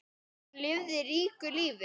Hún lifði ríku lífi.